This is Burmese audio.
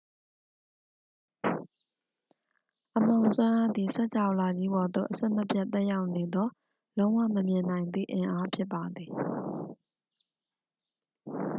အမှောင်စွမ်းအားသည် စကြာဝဠာကြီးပေါ်သို့ အဆက်မပြတ်သက်ရောက်နေသော လုံးဝမမြင်နိုင်သည့်အင်အားဖြစ်ပါသည်